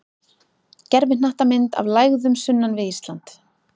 Gervihnattamynd af lægðum sunnan við Ísland.